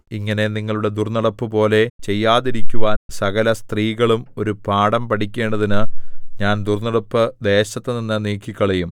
ഇങ്ങനെ നിങ്ങളുടെ ദുർന്നടപ്പുപോലെ ചെയ്യാതിരിക്കുവാൻ സകലസ്ത്രീകളും ഒരു പാഠം പഠിക്കേണ്ടതിന് ഞാൻ ദുർന്നടപ്പ് ദേശത്തുനിന്ന് നീക്കിക്കളയും